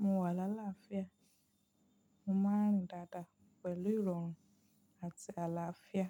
Mo wà lálàáfíà, mo máa ń rìn dáadáa pẹ̀lú ìrọ̀rùn àti àlàáfíà.